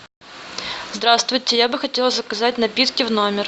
здравствуйте я бы хотела заказать напитки в номер